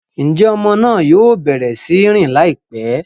Njé ọmọ náà yóò bẹrẹ sí n rìn laipẹ?